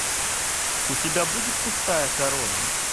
у тебя будет пустая корона